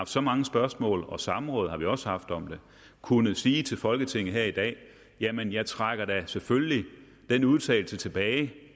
så mange spørgsmål om samråd har vi også haft om den kunne sige til folketinget i dag jamen jeg trækker da selvfølgelig den udtalelse tilbage